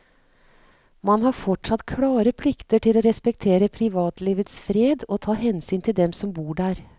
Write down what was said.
Man har fortsatt klare plikter til å respektere privatlivets fred og ta hensyn til dem som bor der.